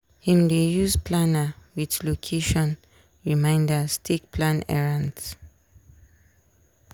him dey use planner with location reminders take plan errends.